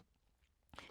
DR2